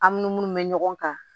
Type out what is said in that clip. An ni minnu bɛ ɲɔgɔn kan